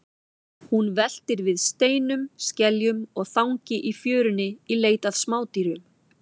Hún veltir við steinum, skeljum og þangi í fjörunni í leit að smádýrum.